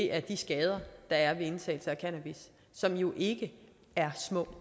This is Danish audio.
er de skader der er ved indtagelse af cannabis som jo ikke er små